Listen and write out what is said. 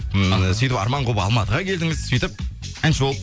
ммм сөйтіп арман қуып алматыға келдіңіз сөйтіп әнші болып